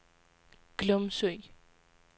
Glumsø